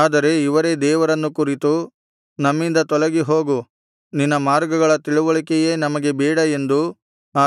ಆದರೆ ಇವರೇ ದೇವರನ್ನು ಕುರಿತು ನಮ್ಮಿಂದ ತೊಲಗಿ ಹೋಗು ನಿನ್ನ ಮಾರ್ಗಗಳ ತಿಳಿವಳಿಕೆಯೇ ನಮಗೆ ಬೇಡ ಎಂದೂ